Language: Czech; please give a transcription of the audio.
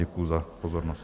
Děkuji za pozornost.